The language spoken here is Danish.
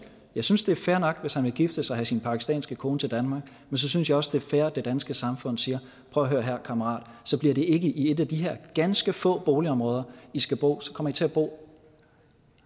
jeg synes det er fair nok hvis han vil gifte sig og have sin pakistanske kone til danmark men så synes jeg også det er fair at det danske samfund siger prøv at høre her kammerat så bliver det ikke i et af de her ganske få boligområder i skal bo så kommer i til at bo